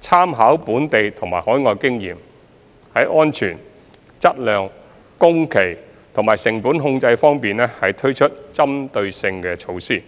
參考本地及海外經驗，在安全、質量、工期和成本控制等方面推出針對性措施。